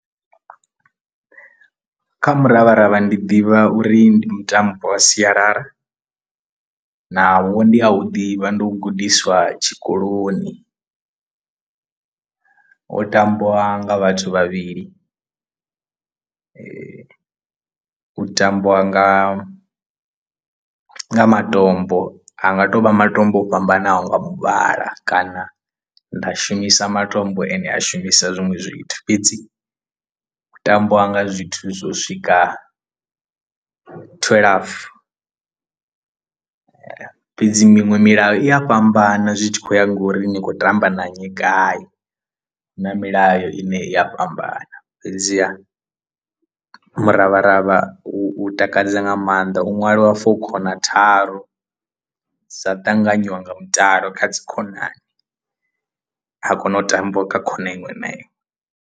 Kha muravharavha ndi ḓivha uri ndi mutambo wa sialala naho ndi a u ḓivha ndi u gudiswa tshikoloni u tambiwa nga vhathu vhavhili u tambiwa nga matombo a nga to vha matombo o fhambanaho nga muvhala kana nda shumisa matombo ane a shumisa zwiṅwe zwithu, fhedzi u tambiwa nga zwithu zwo swika thwelafu fhedzi miṅwe milayo i a fhambana zwi tshi khou ya ngori ni khou tamba na nnyi gai hu na milayo ine i a fhambana fhedziha miravharavha u takadza nga maanḓa u ṅwaliwa for khona tharu dza ṱanganywa nga mutalo kha dzi khonani ha kona u tambiwa kha khona iṅwe na iṅwe.